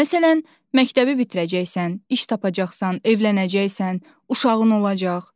Məsələn, məktəbi bitirəcəksən, iş tapacaqsan, evlənəcəksən, uşağın olacaq.